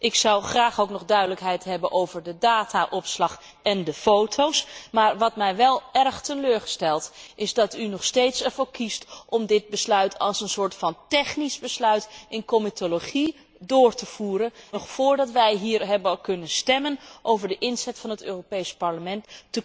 Ik zou graag ook nog duidelijkheid hebben over de dataopslag en de foto's. Wat mij wel erg teleurstelt, is dat u er nog steeds voor kiest om dit besluit als een soort technisch besluit in comitologie door te voeren en dat u met voorstellen komt, nog voordat wij hier hebben kunnen stemmen over de inzet van het Europees Parlement.